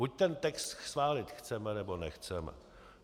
Buď ten text schválit chceme, nebo nechceme.